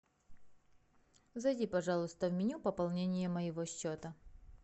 зайди пожалуйста в меню пополнение моего счета